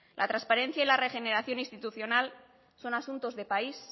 la transparencia y la regeneración institucional son asuntos de país